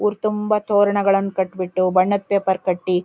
ಊರ್ ತುಂಬಾ ತೋರಣಗಳನ್ನು ಕಟ್ ಬಿಟ್ಟು ಬಣ್ಣದ್ ಪೇಪರ್ ಕಟ್ಟಿ --